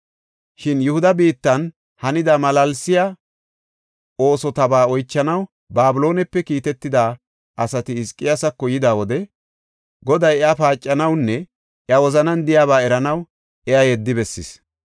Shin Yihuda biittan hanida malaalsiya oosotaba oychanaw Babiloonepe kiitetida asati Hizqiyaasako yida wode Goday iya paacanawunne iya wozanan de7iyaba eranaw iya yeddi bessis.